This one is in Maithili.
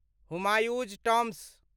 हुमायूँ'स टॉम्ब